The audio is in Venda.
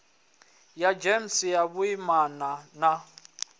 ya gems ya vhuimana na